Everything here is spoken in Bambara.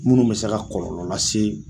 Munnu bɛ se ka kɔlɔlɔ lase